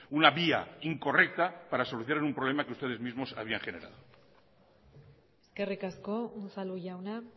una vía incorrecta para solucionar un problema que ustedes mismos había generado eskerrik asko unzalu jauna